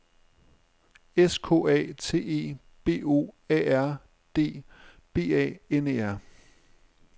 S K A T E B O A R D B A N E R